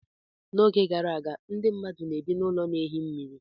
N'oge gara aga, ndị mmadụ na-ebi n'ụlọ na ehi mmiri.